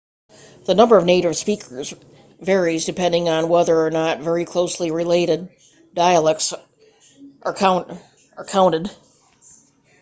the number of native speakers varies depending on whether or not very closely related dialects are counted